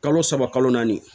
Kalo saba kalo naani